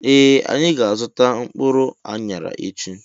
Ee anyị ga -azuta mkpụrụ anyara echi.